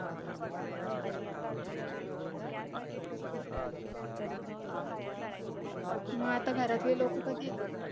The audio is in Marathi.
मग आता घरातली लोकं कधी येतील